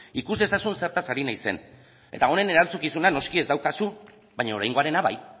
ikus dezazun zertaz ari naizen eta honen erantzukizuna noski ez daukazu baina oraingoarena bai